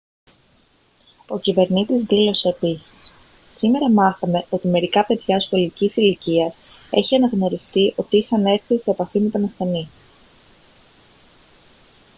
ο κυβερνήτης δήλωσε επίσης «σήμερα μάθαμε ότι μερικά παιδιά σχολικής ηλικίας έχει αναγνωριστεί ότι είχαν έρθει σε επαφή με τον ασθενή»